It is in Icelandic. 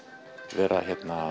vera